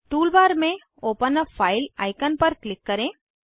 tool bar में open a file icon पर click करें